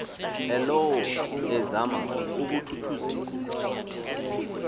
elowo ezama ukuthuthuzela